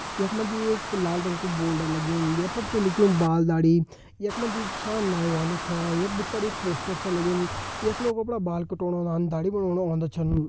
यख मा जी एक लाल रंग कु बोर्ड लग्युं ये पर छ लिख्युं बाल दाढ़ी यख मा जी जु छा नाइ वालु छा यख भितर एक पोस्टर छा लग्युं यख लोग अपड़ा बाल काटोंण औंदान दाढ़ी बनोंण औंदा छन।